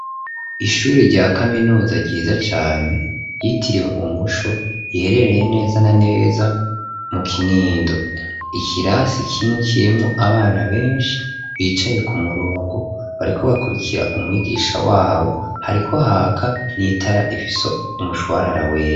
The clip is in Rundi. Ishuri rya kaminuza ryiza cane ryitiriwe umuco iherereye neza na neza mu Kinindo, ikirasi kimwe kirimwo abana benshi bicaye ku murongo bariko bakurikira umwigisha wabo hariko haka n'itara rifise umushwarara wera.